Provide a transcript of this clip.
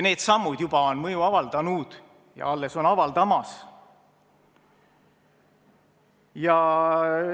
Need sammud juba on mõju avaldanud ja on alles avaldamas.